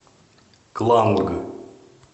кланг